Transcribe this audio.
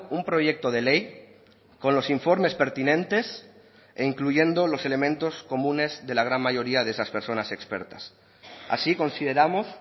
un proyecto de ley con los informes pertinentes e incluyendo los elementos comunes de la gran mayoría de esas personas expertas así consideramos